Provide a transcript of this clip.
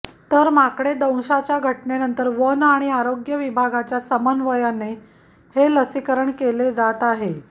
तर माकडे दंशाच्या घटनांनंतर वन आणि आरोग्य विभागाच्या समन्वयाने हे लसीकरण केले जात आहे